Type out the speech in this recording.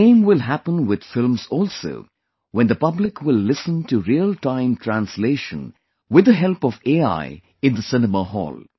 The same will happen with films also when the public will listen to Real Time Translation with the help of AI in the cinema hall